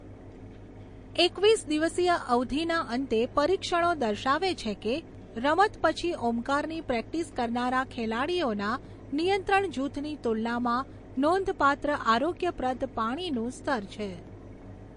એકવીસ દિવસીય અવધિના અંતે પરીક્ષણો દર્શાવે છે કે રમત પછી ઓમકારની પ્રેક્ટિસ કરનારા ખેલાડીઓના નિયંત્રણ જૂથની તુલનામાં નોંધપાત્ર આરોગ્યપ્રદ પાણીનું સ્તર છે.